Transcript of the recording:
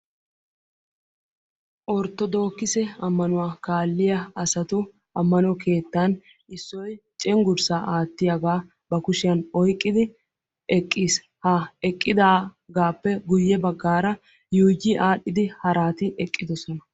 Orttodookisse ammanuwa kaaliyaa asati ammano keettan issoy cenggurssa aattiyaaga ba kushiyaan oyqqidi eqqiis; ha eqqidaagappe guyye baggara yuuyi aadhdhidi harati eqqidoosona